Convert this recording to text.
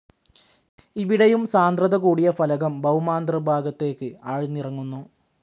ഇവിടെയും സാന്ദ്രത കൂടിയ ഫലകം ഭൌമാന്തർ ഭാഗത്തേക്ക്‌ ആഴ്ന്നിറങ്ങുന്നു.